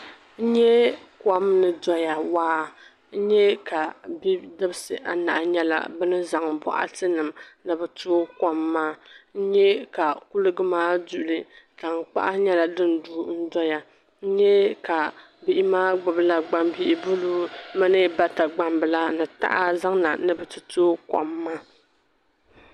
n nya kom ni dɔya waa n nya ka bidibisi anahi nyɛla bɛ ni zaŋ bɔɣarinima ni bɛ tooi kom maa n nya ka kuliga maa duli tankpaɣu nyɛla din du n-dɔya n nya ka bihi maa gbubila gbambil' buluu mini bata gbambila ni taha zaŋ na ni bɛ ti toogi kom maa